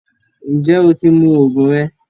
Njẹ o ti mú oogun rẹ?